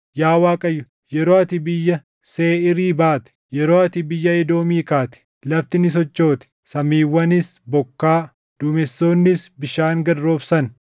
“Yaa Waaqayyo, yeroo ati biyya Seeʼiirii baate, yeroo ati biyya Edoomii kaate, lafti ni sochoote; samiiwwanis bokkaa, duumessoonnis bishaan gad roobsan.